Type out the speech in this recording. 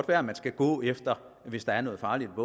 være at man skulle gå efter det hvis der er noget farligt